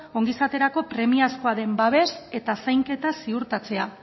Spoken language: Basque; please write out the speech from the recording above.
ongizaterako premiazkoa den babes eta zainketa ziurtatzea